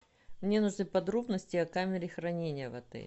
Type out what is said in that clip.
мне нужны подробности о камере хранения в отеле